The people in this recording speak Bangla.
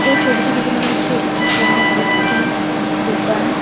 এই ছবিটি দেখে মনে হচ্ছে এটি কোন একটি দোকান।